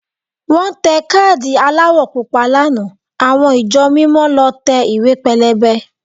Wọ́n tẹ káàdì aláwọ̀ Pupa lánàá àwọn ìjọ mímọ lọ tẹ ìwé pélébé